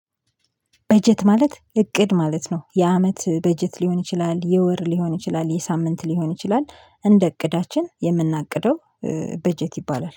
በጀት ማለት እቅድ ማለት ነው የአመት በጀት ሊሆን ይችላል የወር ሊሆን ይችላል የሳምንት ሊሆን ይችላል እንደ እቅዳችን የምናቅደው። በጀት ይባላል